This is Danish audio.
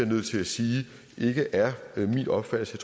nødt til at sige ikke er min opfattelse